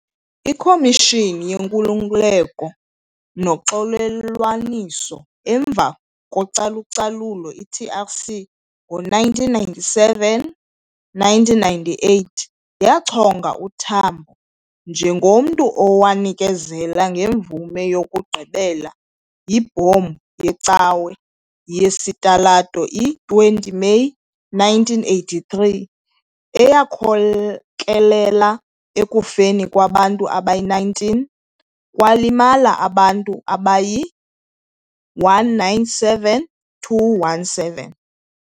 IKhomishini ye-Nkululeko noXolelwaniso emva kocalucalulo, i-TRC, ngo-1997-1998 yachonga uTambo njengomntu owanikezela ngemvume yokugqibela yibhombu yecawe yesitalato i-20 Meyi 1983, eyakhokelela ekufeni kwabantu abayi-19 kwalimala abantu abayi-197-217.